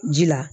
Ji la